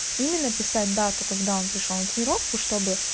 именно писать дату когда он пришёл на тренировку чтобы